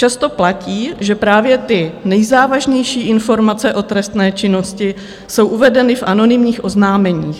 Často platí, že právě ty nejzávažnější informace o trestné činnosti jsou uvedeny v anonymních oznámeních.